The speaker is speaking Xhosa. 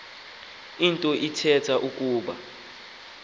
nto ithetha ukuba